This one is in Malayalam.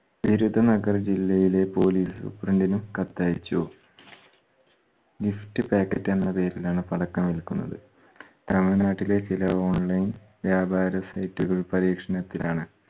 നഗർ ജില്ലയില police Superintendent ഇന് കത്തയച്ചു gilft packet എന്ന പേരിലാണ് പടക്കം വിൽക്കുന്നത്. തമിഴ്നാട്ടിലെ ചില online വ്യാപാര site ഉകൾ പരീക്ഷണത്തിലാണ്.